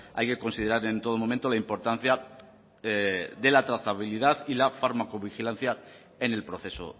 hay que considerar en todo momento la importancia de la trazabilidad y la fármaco vigilancia en el proceso